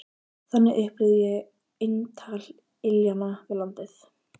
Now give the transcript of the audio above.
Þannig upplifði ég eintal iljanna við landið.